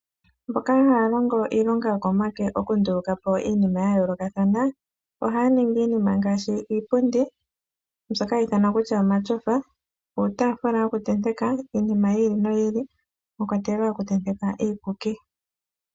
Mboka haya longo iilonga yokomake okundulukapo iinima yayoolokathana ohaya ningi iinima ngaashi iipundi mbyoka hayi ithanwa kutya omatyofa, niitaafula yokuntenteka iinima yi ili noyi ili mwakwatelwa okutenteka iikuki.